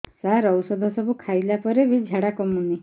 ସାର ଔଷଧ ସବୁ ଖାଇଲା ପରେ ବି ଝାଡା କମୁନି